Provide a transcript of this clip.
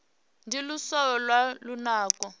ndi luswayo lwa lunako